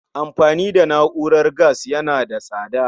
Amfani da na'urar gas yana da tsada